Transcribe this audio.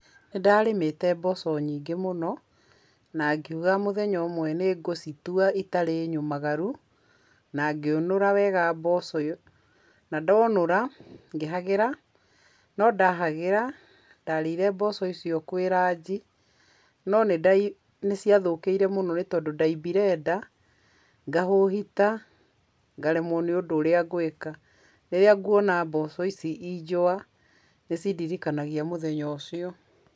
Nĩ ndarĩmĩte mboco nyingĩ mũno, na ngiuga mũthenya ũmwe citarĩ nyũmaaru. Na ngĩũnũra wega mboco. Na ndonũra, ngĩhagĩra. No ndahagĩra, ndarĩrĩire mboco icio kwĩ ranji, no nĩ ndaigwire nĩ cithũkĩire mũno tondũ ndaimbire nda, ngahũhita ngaremwo nĩ ũndũ ũrĩa ngũĩka. Rĩrĩa nguona mboco ici injũa nĩ cindiririkanagia mũthenya ũcio.